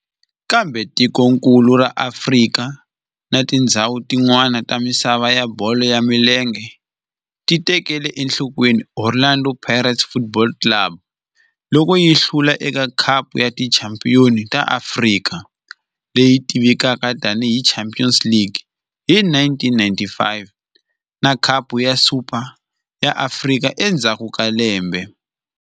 Kambe tikonkulu ra Afrika na tindzhawu tin'wana ta misava ya bolo ya milenge ti tekele enhlokweni Orlando Pirates Football Club loko yi hlula eka Khapu ya Tichampion ta Afrika, leyi tivekaka tani hi Champions League, hi 1995 na Khapu ya Super ya Afrika endzhaku ka lembe.